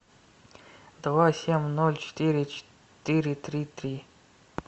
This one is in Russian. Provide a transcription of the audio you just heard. два семь ноль четыре четыре три три